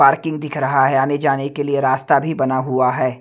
Parking दिख रहा है आने जाने के लिए रास्ता भी बना हुआ है।